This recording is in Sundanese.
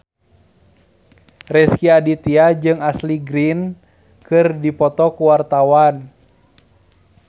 Rezky Aditya jeung Ashley Greene keur dipoto ku wartawan